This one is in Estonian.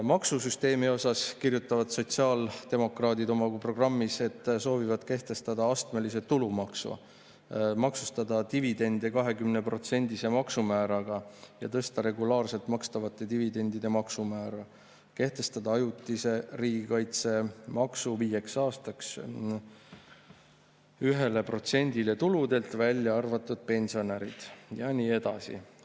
Maksusüsteemi kohta kirjutavad sotsiaaldemokraadid oma programmis, et soovivad kehtestada astmelise tulumaksu, maksustada dividende 20%‑lise maksumääraga ja tõsta regulaarselt makstavate dividendide maksumäära, kehtestada ajutise riigikaitsemaksu viieks aastaks 1%‑le tuludelt, välja arvatud pensionäride puhul – ja nii edasi.